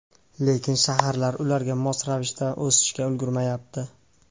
Lekin shaharlar ularga mos ravishda o‘sishga ulgurmayapti.